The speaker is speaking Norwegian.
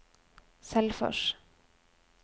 Selfors